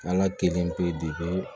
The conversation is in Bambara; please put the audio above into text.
Ala kelen pe